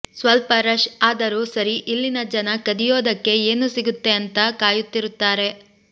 ಸ್ವಲ್ಪ ರಶ್ ಆದರೂ ಸರಿ ಇಲ್ಲಿನ ಜನ ಕದಿಯೋದಿಕ್ಕೆ ಏನು ಸಿಗುತ್ತೆ ಅಂತ ಕಾಯುತ್ತಿರುತ್ತಾರೆ